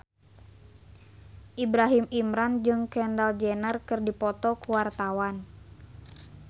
Ibrahim Imran jeung Kendall Jenner keur dipoto ku wartawan